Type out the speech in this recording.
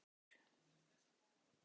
Hvers vegna var hann ekki skipaður?